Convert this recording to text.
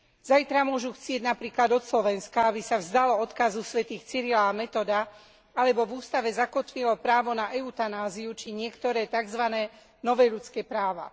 Zajtra môžu chcieť napríklad od Slovenska, aby sa vzdalo odkazu svätých Cyrila a Metoda alebo v ústave zakotvilo právo na eutanáziu či niektoré takzvané nové ľudské práva.